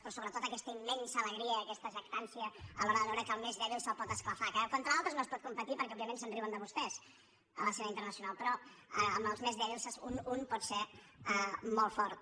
però sobretot aquesta immensa alegria i aquesta jactància a l’hora de veure que al més dèbil se’l pot esclafar que contra altres no es pot competir perquè òbviament es riuen de vostès a l’escena internacional però amb els més dèbils un pot ser molt fort